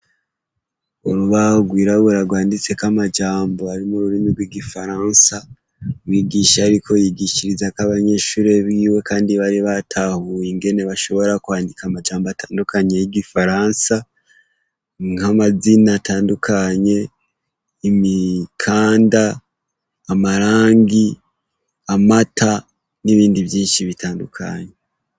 Urubahgwira burarwanditseko amajambo arimo ururimi rw'igifaransa wigisha, ariko yigishiriza ko abanyeshure biwe, kandi bari batahuye ingene bashobora kwandika amajambo atandukanye y'igifaransa nk'amazina atandukanye imikanda amarangi amata n'ibindi vyinshi bitandukanye.